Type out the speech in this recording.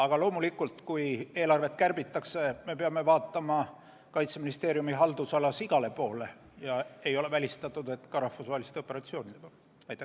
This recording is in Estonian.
Aga loomulikult, kui eelarvet kärbitakse, siis me peame Kaitseministeeriumi haldusalas vaatama igale poole, ei ole välistatud, et ka rahvusvaheliste operatsioonide poole.